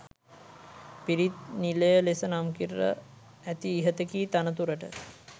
පිරිත් නිලය ලෙස නම් කර ඇති ඉහත කී තනතුරට